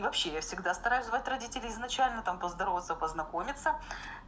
вообще я всегда стараюсь звать родителей изначально там поздороваться познакомиться